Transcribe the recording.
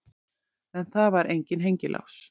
En það var enginn hengilás.